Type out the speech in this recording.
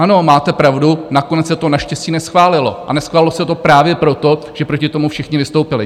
Ano, máte pravdu, nakonec se to naštěstí neschválilo, a neschválilo se to právě proto, že proti tomu všichni vystoupili.